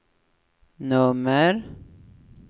nummer